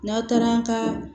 N'a taara an ka